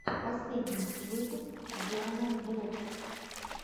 последний выпуск дианаблокс